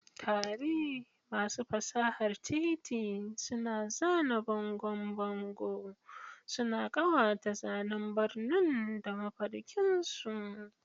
Tare, masu fasahar titi suna zana bangon bango, suna ƙawata zanen birni da mafarkinsu.